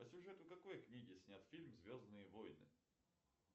по сюжету какой книги снят фильм звездные войны